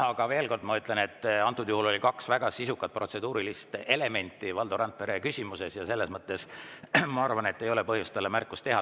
Aga ma veel kord ütlen, et antud juhul oli kaks väga sisukat protseduurilist elementi Valdo Randpere küsimuses ja selles mõttes ma arvan, et ei ole põhjust talle märkust teha.